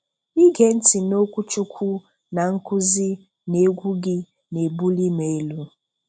Ige nti n'okwuchukwu na nkuzi na egwu gị na-ebuli m elu.